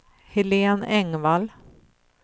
Helen Engvall